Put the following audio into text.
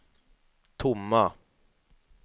tomma